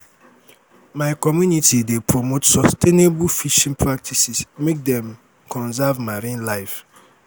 my community dey promote sustainable fishing practices make dem conserve marine life.